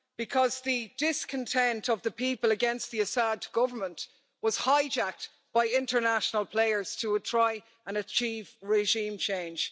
Because the discontent of the people against the Assad Government was hijacked by international players to try and achieve regime change.